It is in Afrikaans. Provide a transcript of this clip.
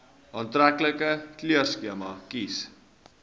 aantreklike kleurskema kies